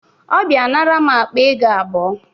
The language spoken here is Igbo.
Ọ bịa nara m akpa ego abụọ